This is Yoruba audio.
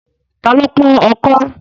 Ta ló pọ́n ọkọ́?